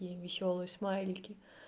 и весёлые смайлики